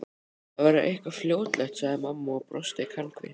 Það verður eitthvað fljótlegt sagði mamma og brosti kankvís.